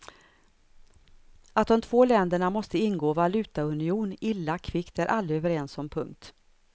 Att de två länderna måste ingå valutaunion illa kvickt är alla överens om. punkt